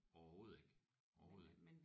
Overhovedet ikke overhovedet ikke